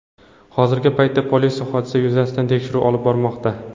Hozirgi paytda politsiya hodisa yuzasidan tekshiruv olib bormoqda.